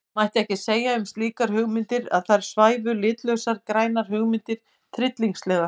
Mætti ekki segja um slíkar hugmyndir að þar svæfu litlausar grænar hugmyndir tryllingslega?